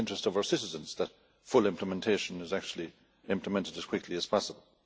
It is in the interest of our citizens that full implementation is actually achieved as quickly as possible.